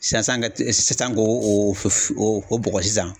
Sisan sisan ka sisan ko o bɔgɔ sisan.